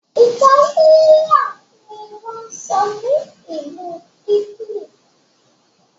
Itálíà ní wón sọ ní Ìlu italy.